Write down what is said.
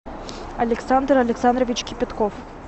александр александрович кипятков